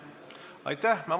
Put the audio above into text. Aitäh!